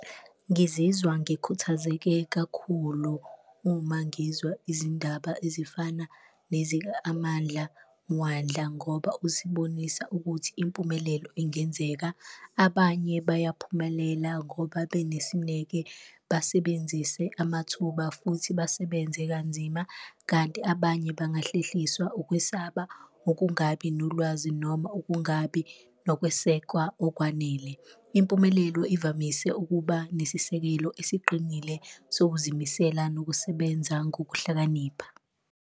Ngizizwa ngikhuthazeke kakhulu uma ngizwa izindaba ezifana nezika-Amandla Mwandla ngoba usibonisa ukuthi impumelelo ingenzeka, abanye bayaphumelela ngoba benesineke, basebenzise amathuba futhi basebenze kanzima. Kanti abanye bangahlehliswa ukwesaba, ukungabi nolwazi noma ukungabi nokwesekwa okwanele, impumelelo ivamise ukuba nesisekelo esiqinile sokuzimisela nokusebenza ngokuhlakanipha.